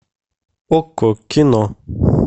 окко кино